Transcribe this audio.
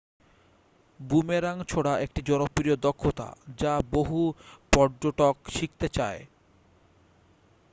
boomerang ছোড়া একটি জনপ্রিয় দক্ষতা যা বহু পর্যটক শিখতে চান